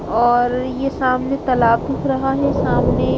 और ये सामने तालाब दिख रहा है सामने--